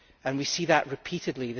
We see that repeatedly.